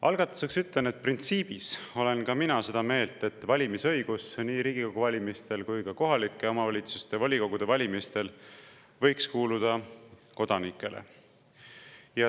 Algatuseks ütlen, et printsiibis olen ka mina seda meelt, et valimisõigus nii Riigikogu valimistel kui ka kohaliku omavalitsuse volikogu valimistel võiks kuuluda kodanikele.